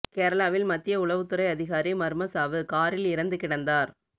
கேரளாவில் மத்திய உளவுத்துறை அதிகாரி மர்ம சாவு காரில் இறந்து கிடந்தார்